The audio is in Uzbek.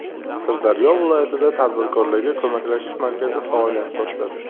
Sirdaryo viloyatida tadbirkorlarga ko‘maklashish markazi faoliyat boshladi.